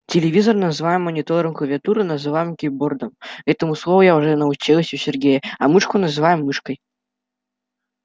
телевизор называем монитором клавиатуру называем кейбордой этому слову я уже научилась у сергея а мышку называем мышкой